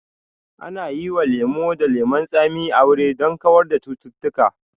Ana yi wa lemo da lemon tsami aure don kawar da cututtuka